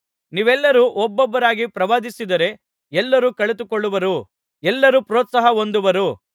ನೀವೆಲ್ಲರೂ ಒಬ್ಬೊಬ್ಬರಾಗಿ ಪ್ರವಾದಿಸಿದರೆ ಎಲ್ಲರೂ ಕಲಿತುಕೊಳ್ಳುವರು ಎಲ್ಲರೂ ಪ್ರೋತ್ಸಾಹ ಹೊಂದುವರು